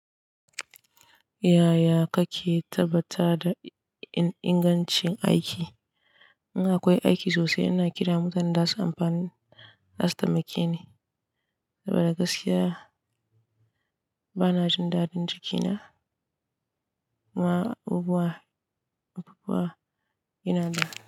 Yaya kake tabbata da ingancin aiki? In akwai aiki sosai, ina kira mutanen da su amfani da zasu taimake ni. Saboda gaskiya bana jin daɗin jikina ma abubuwa, abubuwa yana da.